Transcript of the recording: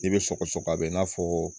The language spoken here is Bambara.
I bɛ sɔgɔsɔgɔ a bɛ i n'a fɔ